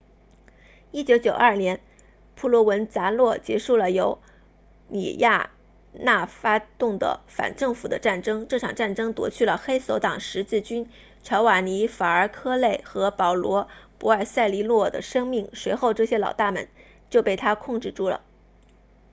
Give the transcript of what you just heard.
1992年普罗文扎诺 provenzano 结束了由里亚纳发动的反政府的战争这场战争夺去了黑手党十字军乔瓦尼法尔科内 giovanni falcone 和保罗博尔塞利诺 paolo borsellino 的生命随后这些老大们就被他控制住了